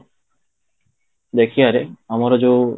ଦେଖିବାରେ, ଆମର ଯୋଉ